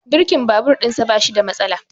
Birkin babur ɗin sa bashi da matsala